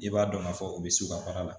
I b'a dɔn k'a fɔ u bɛ sukaro la